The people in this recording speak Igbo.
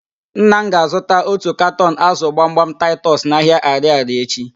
Nna m ga-azụta otu katọn ázụ̀ gbamgbam taịtọs n'ahịa Arịarịa echi.